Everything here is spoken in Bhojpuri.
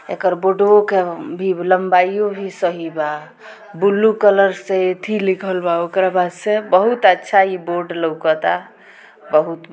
एकर के भी लम्बाईयो भी सही बा ब्लू कलर से अथी लिखल बा ओकर बा से बहुत अच्छा इ बोर्ड लउकता बहुत--